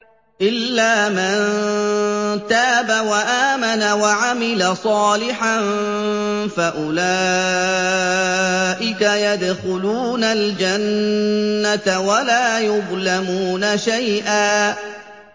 إِلَّا مَن تَابَ وَآمَنَ وَعَمِلَ صَالِحًا فَأُولَٰئِكَ يَدْخُلُونَ الْجَنَّةَ وَلَا يُظْلَمُونَ شَيْئًا